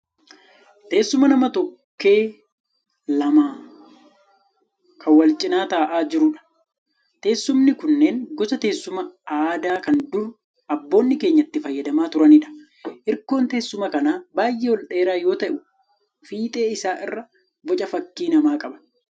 Teessuma nama tokkee lama kan wal cina taa'aa jiruudha. Teessumni kunneen gosa teessuma aadaa kan dur abboonni keenya itti fayyadamaa turaniidha. Hirkoon teessuma kanaa baay'ee ol dheeraa yoo ta'u fiixee isaa irraa boca fakkii namaa qaba.